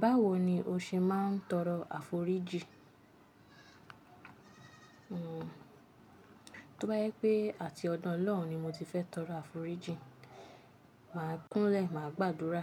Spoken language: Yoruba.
Báwo ni o ṣe máa ń tọrọ àforíjì? Hmm. Tóbá jẹ́ pé àti ọdọ Ọlọ́run ni mo ti fẹ́ tọrọ àforíjì, màá kúnlẹ̀, màá gbàdúrà